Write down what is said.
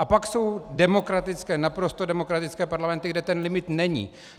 A pak jsou demokratické, naprosto demokratické parlamenty, kde ten limit není.